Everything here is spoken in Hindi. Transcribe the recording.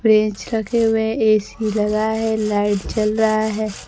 प्रेज़ रखे हुए है ए_सी लगा है लाइट जल रहा है।